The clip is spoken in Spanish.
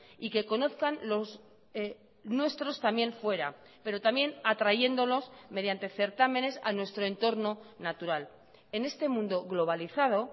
y que conozcan los nuestros también fuera pero también atrayéndolos mediante certámenes a nuestro entorno natural en este mundo globalizado